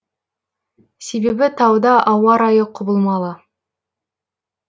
себебі тауда ауа райы құбылмалы